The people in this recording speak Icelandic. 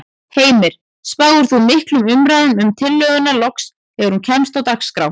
Heimir: Spáir þú miklum umræðum um tillöguna loks þegar hún kemst á dagskrá?